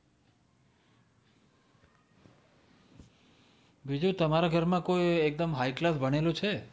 બીજું તમારા ઘરમાં કોઈ એકદમ high class ભણેલું છે? જે સૌથી સારી degree પર